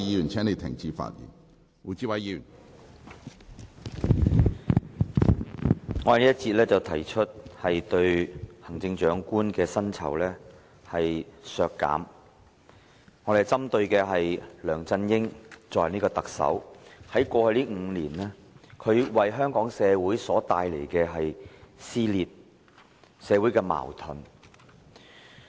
我在這一節發言提出削減行政長官的薪酬，我針對的是梁振英作為特首在過去5年為香港社會帶來的撕裂和矛盾。